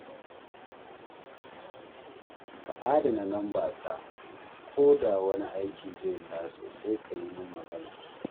Ka adana lambata, ko da wani aiki zai taso, sai ka yi min magana